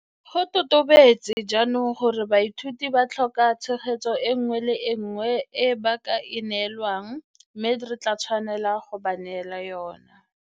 Go totobetse jaanong gore baithuti ba tlhoka tshegetso e nngwe le e nngwe e ba ka e neelwang mme re tla tswelela go ba neela yona.